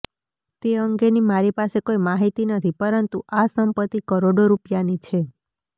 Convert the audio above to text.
તે અંગેની મારી પાસે કોઇ માહિતી નથી પરંતુ આ સંપત્તિ કરોડો રૂપિયાની છે